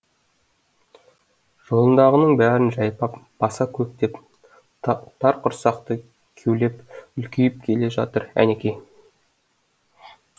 жолындағының бәрін жайпап баса көктеп тар құрсақты кеулеп үлкейіп келе жатыр әнекей